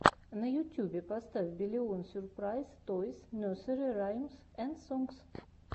на ютюбе поставь биллион сюрпрайз тойс несери раймс энд сонгс